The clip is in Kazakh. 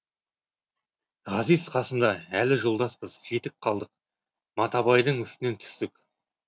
ғазиз қасымда әлі жолдаспыз жетіп қалдық матабайдың үстінен түстік